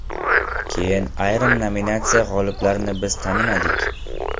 Keyin ayrim nominatsiya g‘oliblarini biz tanimadik.